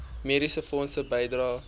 mediese fonds bydrae